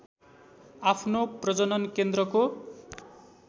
आफ्नो प्रजनन केन्द्रको